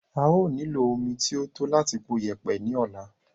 a ó nílò omi tí ó tó láti po yẹ̀pẹ̀ ní ọ̀la.